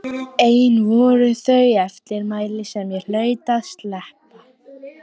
Ein voru þó þau eftirmæli sem ég hlaut að sleppa.